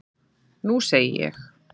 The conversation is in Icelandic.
Nú segi ég.